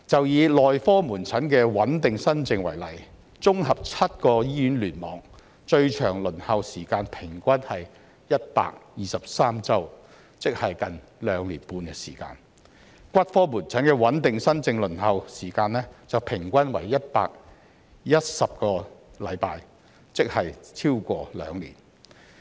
以內科門診的穩定新症為例，綜合7個醫院聯網，最長輪候時間平均為123周，即接近兩年半；骨科門診的穩定新症輪候時間則平均為110周，即超過兩年。